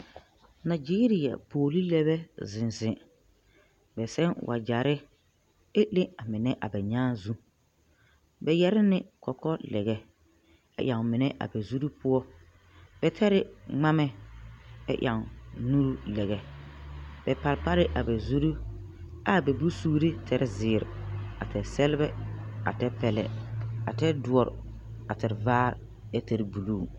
Nageria pɔɔle lɛbɛ a ziŋ ziŋ bɛ sɛu wagyɛrre ɛ le a mine ɛ bɛ nyaaŋ bɛ yɛre ne kɔkɔ lɛbɛ a ɛŋ mine a bɛ zurre poɔ bɛ tɛre ngmamɛ ɛ ɛŋ nuure lɛbɛ ɛ parpare a bɛ zurre aa bɛ bonsuure tɛre zeere a tɛre sɛlbɛ a tɛre pɛlɛ a tɛre doɔre ɛ tɛre vaare ɛ tɛre bluu.